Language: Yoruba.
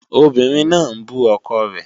Obìnrin náà ń bú ọkọ rẹ̀